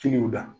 Kiliyanw la